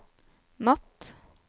natt